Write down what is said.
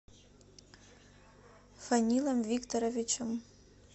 фанилом викторовичем